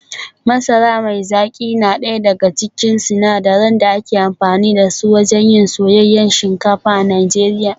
Masara mai zaki na daya daga cikin sinadaran da ake amfani da su wajen yin soyayyen shinkafa a Najeriya